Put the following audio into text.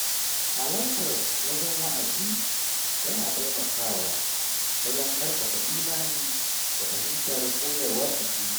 Halartar wajen wa'azi yana taimakawa wajen ƙarfafa imani da fahimtar koyarwar addini.